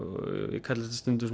ég kalla þetta stundum